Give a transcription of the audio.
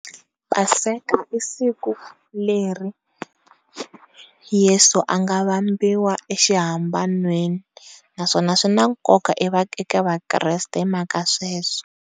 Paseka i siku leri yesu a nga vambiwa exi hambananweni naswona swi na nkoka eka vakreste hi mhaka ya sweswo.